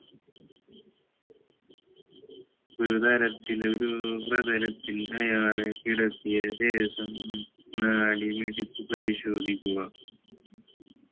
ഒരുതരത്തിലൊരു പ്രതലത്തിൽ അയാളെ കിടത്തിയ ശേഷം നാഡി പിടിച്ച് പരിശോധിക്കുക